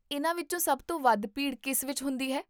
ਇਹਨਾਂ ਵਿੱਚੋਂ ਸਭ ਤੋਂ ਵੱਧ ਭੀੜ ਕਿਸ ਵਿੱਚ ਹੁੰਦੀ ਹੈ?